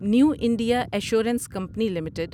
new India assurance company limited